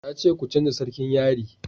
na ce ku canja sarkin yari!